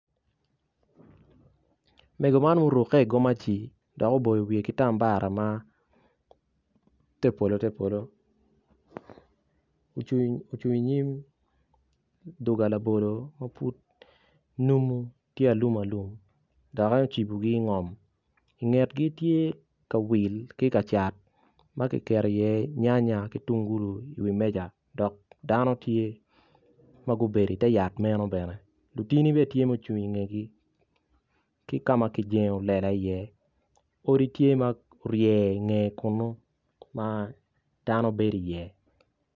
Mego man ma oruki igomaci dok oboyo wiye ki tambara ma te polo te polo ocung inyim duga labolo ma pud numu tye alum alum dok ocibogi ingom ingetgi tye kawil ki kacat ma kiketo i iye nya nya ki tungulu iwi meja dok dano tye ma gubedo ite yat meno bene lutini bene tye mucung ingetgi ki kama kijengo lela i iye odi tye ma orye ingeye kunu ma dano bedo i iye.